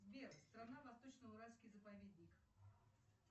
сбер страна восточно уральский заповедник